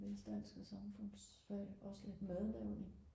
mest dansk og samfundsfag også lidt madlavning